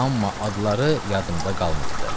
Amma adları yadımda qalmayıbdır.